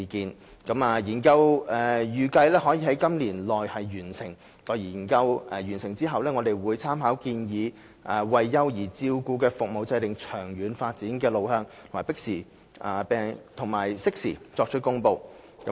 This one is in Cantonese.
幼兒照顧服務研究預計可在今年內完成，待完成後，我們會參考建議為幼兒照顧服務制訂長遠發展路向，並適時作出公布。